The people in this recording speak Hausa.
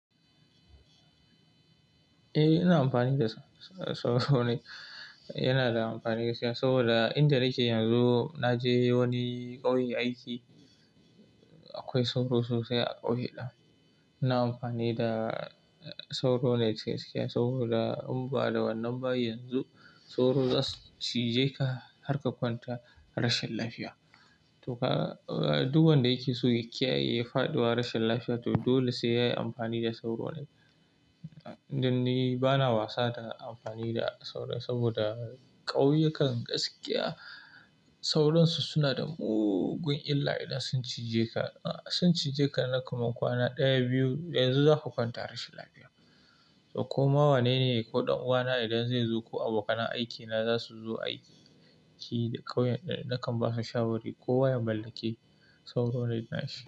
Eh, ina amfani da sauro net yana da amfani gaskiya saboda inda na yi shi yanzu, na je wani ƙauye aiki. Akwai sauro sosai a ƙauye ɗin. Ina amfani da sauro net gaskiya saboda in ba da wannan ba yanzu sauro za su cije ka har ka kwanta rashin lafiya. To ka, duk wanda yake so ya kiyaye faduwa rashin lafiya to dole sai yayi amfani da sauro net. Dan ni bana wasa da amfani da sauro saboda ƙauyu kan gaskiya sauransu suna da mugun illa idan sun cije ka. Sun cije ka, naka makwana ɗaya, biyu yanzu za ka kwanta rashin lafiya. To ko mawane ne ko ɗan uwana idan zai zo ko abokan aiki na za su zo aiki, ƙauyen da nakan ba su shawari ko waya mallaki sauro net na shi.